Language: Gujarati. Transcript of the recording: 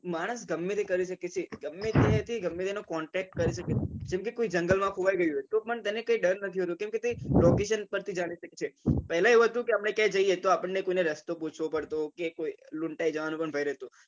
માણસ ગમે તે કરી શકે છે તે થી ગમે તે નો contact કરી શકે છે જેમ કે કોઈ જંગલ માં ખોવાઈ ગયું હોય તો પણ તેને ડર નથી હોતું કેમ કે location પર થી જાણી શકીએ પહેલા એવું હતું કે આપને ક્યાય જઈએ તો આપણને કોઈને રસ્તો પૂછવો પડતો કે કોઈ લુંટાઈ જવાનો પણ ભય રેહતો.